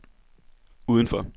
udenfor